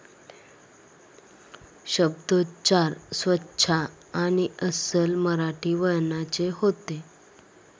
शब्दोच्चार स्वचा आणि अस्सल मराठी वळणाचे होते.